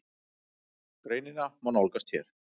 Greinina má nálgast hér.